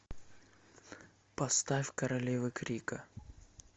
поставь королевы крика